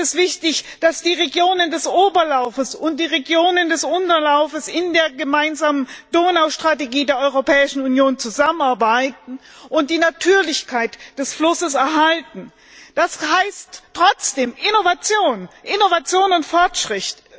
Deswegen ist es wichtig, dass die Regionen des Oberlaufes und die Regionen des Unterlaufes in der gemeinsamen Donaustrategie der Europäischen Union zusammenarbeiten und die Natürlichkeit des Flusses erhalten. Das heißt trotzdem Innovation und Fortschritt.